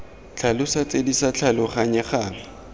tlhalosa tse di sa tlhaloganyegang